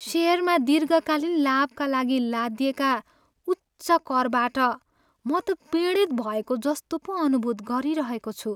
सेयरमा दीर्घकालीन लाभका लागि लादिएका उच्च करबाट म त पीडित भएको जस्तो पो अनुभूत गरिरहेको छु।